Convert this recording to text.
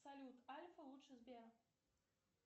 салют альфа лучше сбера